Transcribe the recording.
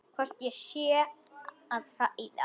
Hvort ég sé að hræða.